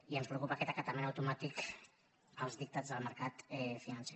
i ens preocupa aquest acatament automàtic dels dictats del mercat financer